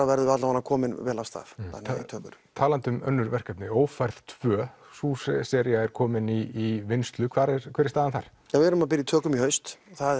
verðum við komin vel af stað innan tveggja ára talandi um önnur verkefni ófærð tvö er komin í vinnslu hver er hver er staðan þar við erum að byrja í tökum í haust það